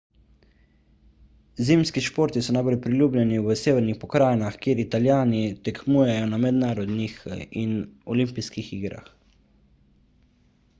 zimski športi so najbolj priljubljeni v severnih pokrajinah kjer italijani tekmujejo na mednarodnih in olimpijskih igrah